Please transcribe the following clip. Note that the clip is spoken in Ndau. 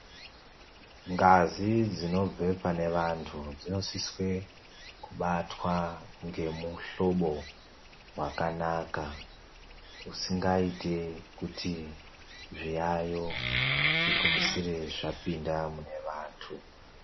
Ngazi dzinobve pane vantu dzinosiswe kubatwa ngemuhlobo wakanaka usingaiti kuti zviyayo zvigumisire zvapinda mune vantu.